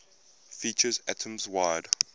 features atoms wide